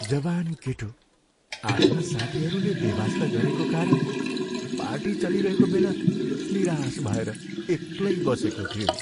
जवान केटो आफ्ना साथीहरूले बेवास्ता गरेको कारण पार्टी चलिरहेको बेला निराश भएर एक्लै बसेको थियो।